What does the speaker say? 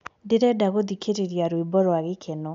ndĩrenda gũthĩkĩrĩrĩa rwĩmbo rwa gĩkeno